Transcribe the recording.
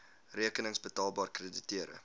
rekenings betaalbaar krediteure